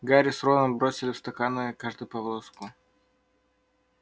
гарри с роном бросили в стаканы каждый по волоску